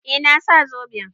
Eh, na sa zoben.